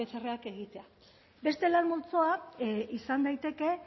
pcrak egitea beste lan multzoa izan daiteke